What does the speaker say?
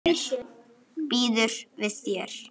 Hún kunni að vera ung.